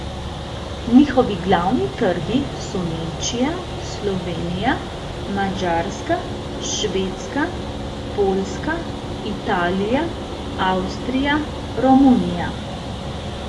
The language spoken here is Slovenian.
Njihovi glavni trgi so Nemčija, Slovenija, Madžarska, Švedska, Poljska, Italija, Avstrija, Romunija.